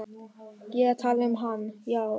Ég er að tala um hann, já.